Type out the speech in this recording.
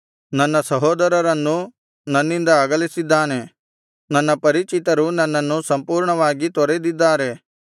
ನನ್ನ ಸಹೋದರರನ್ನು ನನ್ನಿಂದ ಅಗಲಿಸಿದ್ದಾನೆ ನನ್ನ ಪರಿಚಿತರು ನನ್ನನ್ನು ಸಂಪೂರ್ಣವಾಗಿ ತೊರೆದಿದ್ದಾರೆ